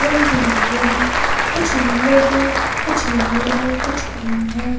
रंग बिरंगे हैं कुछ नील हैं कुछ येलो है कुछ ग्रीन है।